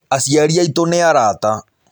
Aciari aitũ nĩ arata.